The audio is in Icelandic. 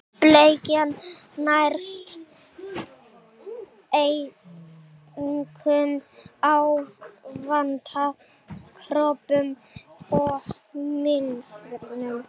Bleikjan nærist einkum á vatnakröbbum og mýlirfum.